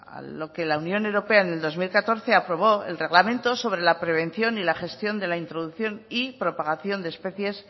a lo que la unión europea en el dos mil catorce aprobó el reglamento sobre la prevención y la gestión de la introducción y propagación de especies